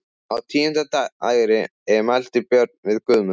Á tíunda dægri mælti Björn við Guðmund: